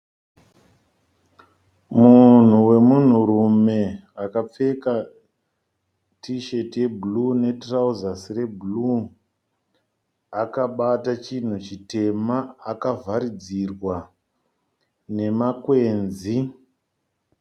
Munhu wemunhurume akapfeka tisheti ye"blue" netirauzasi re"blue" akabata chinhu chitema. Akavharidzirwa nemakwenzi.